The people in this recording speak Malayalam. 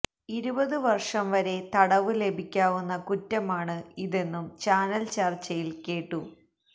ഇരുപത് വർഷം വരെ തടവ് ലഭിക്കാവുന്ന കുറ്റമാണ് ഇതെന്നും ചാനൽ ചർച്ചയിൽ കേട്ടു